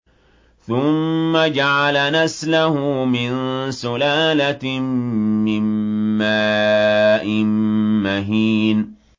ثُمَّ جَعَلَ نَسْلَهُ مِن سُلَالَةٍ مِّن مَّاءٍ مَّهِينٍ